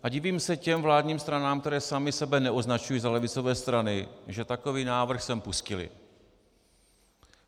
A divím se těm vládním stranám, které samy sebe neoznačují za levicové strany, že takový návrh sem pustily.